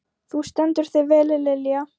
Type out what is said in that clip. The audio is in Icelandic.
Þú stendur þig vel, Lilja!